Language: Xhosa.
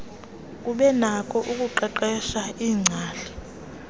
kubenakho ukuqeqeshwa iingcali